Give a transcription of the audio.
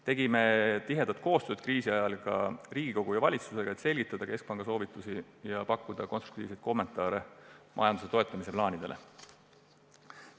Tegime kriisi ajal tihedat koostööd ka Riigikogu ja valitsusega, et keskpanga soovitusi selgitada ja pakkuda konstruktiivseid kommentaare majanduse toetamise plaanidele.